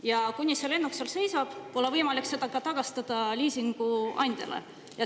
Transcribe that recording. Ja kuni lennuk seal seisab, pole võimalik seda ka tagastada liisinguandjale.